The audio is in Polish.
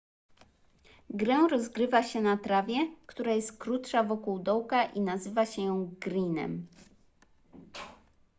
grę rozgrywa się na trawie która jest krótsza wokół dołka i nazywa się ją greenem